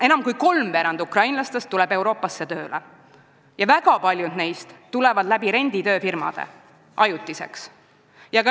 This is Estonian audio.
Enam kui kolmveerand ukrainlastest tuleb Euroopasse tööle ja väga paljud neist tulevad ajutiselt, renditööfirmade kaudu.